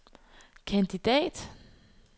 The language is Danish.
kandidat